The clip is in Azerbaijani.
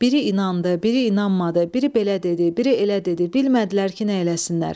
Biri inandı, biri inanmadı, biri belə dedi, biri elə dedi, bilmədilər ki, nə eləsinlər.